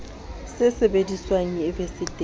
se sebediswang e be se